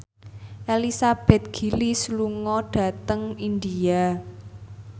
Elizabeth Gillies lunga dhateng India